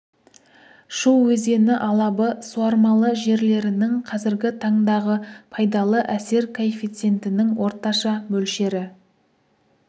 шу өзені алабы суармалы жерлерінің қазіргі таңдағы пайдалы әсер коэффициентінің орташа мөлшері